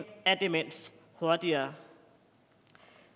af demens hurtigere